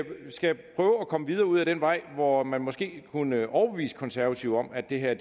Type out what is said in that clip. komme videre ud ad den vej hvor man måske kunne overbevise konservative om at det her